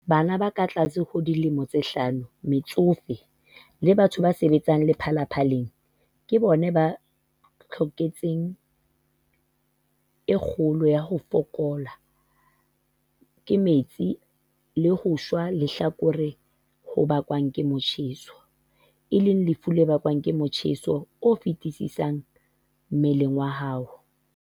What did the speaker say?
Bana ba katlase ho dilemo tse hlano, metsofe le batho ba sebetsang lepalapaleng ke bona ba tlokotsing e kgolo ya ho fokollwa ke metsi le ho shwa lehlakore ho bakwang ke motjheso, e leng lefu le bakwang ke motjheso o feti-sisang mmeleng wa hao,